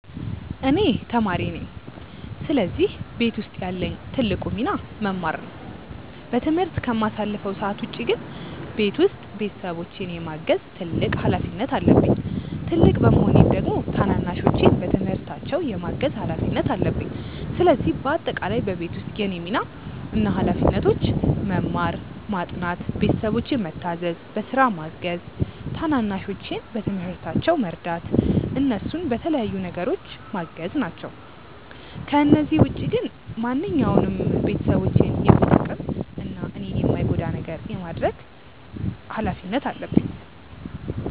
እኔ ተማሪ ነኝ ስለዚህ ቤት ውስጥ ያለኝ ትልቁ ሚና መማር ነው። በትምህርት ከማሳልፈው ሰዓት ውጪ ግን ቤት ውስጥ ቤተሰቦቼን የማገዝ ትልቅ ሀላፊነት አለብኝ። ትልቅ በመሆኔም ደግሞ ታናናሾቼን በትምህርታቸው የማገዝ ሀላፊነት አለብኝ። ስለዚህ በአጠቃላይ በቤት ውስጥ የእኔ ሚና እና ሀላፊነቶች መማር፣ ማጥናት፣ ቤተሰቦቼን ምታዘዝ፣ በስራ ማገዝ፣ ታናናሾቼን በትምህርታቸው መርዳት፣ እነሱን በተለያዩ ነገሮች ማገዝ ናቸው። ከነዚህ ውጪ ግን ማንኛውንም ቤተሰቦቼን የሚጠቅም እና እኔን የማይጎዳ ነገር የማድረግ ምን እና ሀላፊነት አለብኝ።